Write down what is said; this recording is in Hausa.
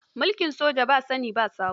Mulkin soja ba sani ba sabo.